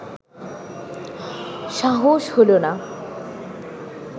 সাহস হলো না